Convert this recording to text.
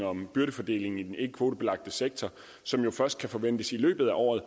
om byrdefordelingen i den ikkekvotebelagte sektor som jo først kan forventes i løbet af året